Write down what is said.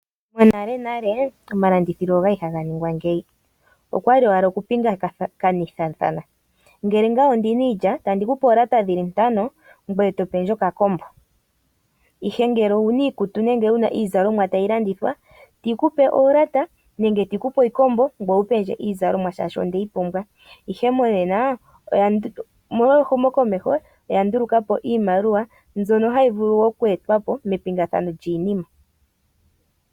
Monalenale omalandithilo ogali haga ningwa ngeyi, okwali owala oku pingakanithathana. Ngele ngaye ondina iilya, otandi kupe oolata dhili ntano ngweye to pendje okakombo. Ihe ngele owu na iikutu nenge wu na iizalomwa tayi landithwa, otii ku pe oolata nenge tii ku pe oshikombo ngoye wu pendje iizalomwa shaashi ondeyi pumbwa. Ihe monena omolwa ehumokomeho oya nduluka po iimaliwa mbyono hayi vulu oku etwa po mepingathano lyiinima.